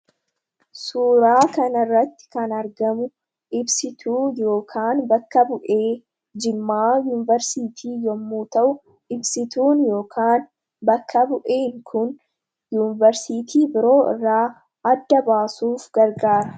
Suuraa kana irratti kan argamu, ibsituu yookaan bakka bu'ee Jimmaa Yuuniversiitii yemmuu ta'u, ibsituun yookaan bakka bu'een Kun Yuuniversiitii biroo irraa adda baasuuf gargaara.